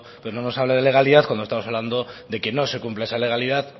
no nos hable de legalidad cuando estamos hablando de que no se cumple esa legalidad